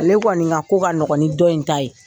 Ale kɔni ka ko ka nɔgɔ ni dɔ in ta ye.